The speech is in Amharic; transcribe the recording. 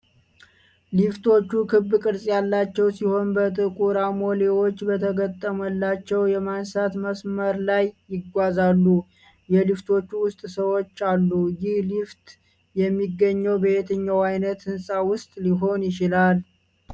ሊፍቶቹ ክብ ቅርጽ ያላቸው ሲሆን በጥቁር አሞሌዎች በተገጠመላቸው የማንሳት መስመር ላይ ይጓዛሉ። የሊፍቶቹ ውስጥ ሰዎች አሉ፤ ይህ ሊፍት የሚገኘው በየትኛው አይነት ህንፃ ውስጥ ሊሆን ይችላል?